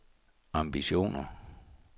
ambitioner